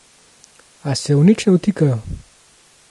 A se v nič ne vtikajo.